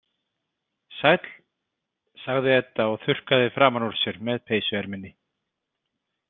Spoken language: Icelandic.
Sæll, sagði Edda og þurrkaði framan úr sér með peysuerminni.